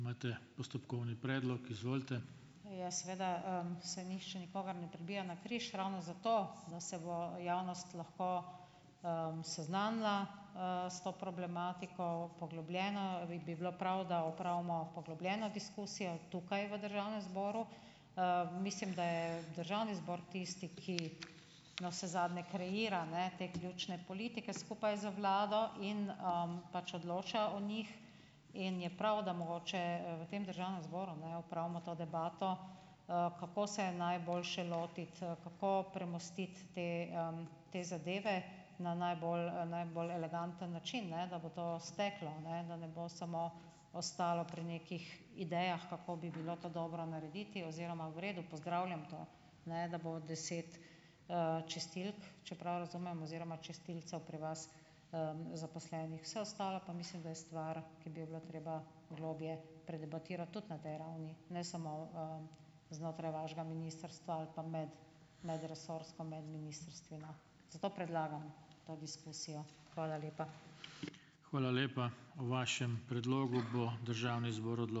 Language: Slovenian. Ja, seveda, se ni še nikogar ne pribija na križ, ravno zato, da se bo javnost lahko, seznanila, s to problematiko poglobljeno, in bi bilo prav, da opravimo poglobljeno diskusijo, tukaj v državnem zboru. Mislim, da je državni zbor tisti, ki navsezadnje kreira, ne, te ključne politike skupaj z vlado in, pač odloča o njih in je prav, da mogoče v tem državnem zboru ne opravimo to debato, kako se je najboljše lotiti, kako premostiti te, te zadeve na najbolj, najbolj eleganten način, ne, da bo to steklo, ne, da ne bo samo ostalo pri nekih idejah, kako bi bilo to dobro narediti oziroma v redu, pozdravljam to, ne, da bo deset, čistilk, če prav razumem, oziroma čistilcev pri vas, zaposlenih. Vse ostalo pa mislim, da je stvar, ki bi jo bilo treba globlje predebatirati tudi na tej ravni, ne samo, znotraj vašega ministrstva ali pa med, medresorsko, med ministrstvi, no. Zato predlagam to diskusijo. Hvala lepa.